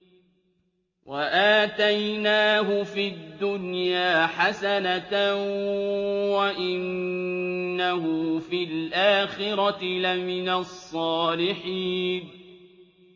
وَآتَيْنَاهُ فِي الدُّنْيَا حَسَنَةً ۖ وَإِنَّهُ فِي الْآخِرَةِ لَمِنَ الصَّالِحِينَ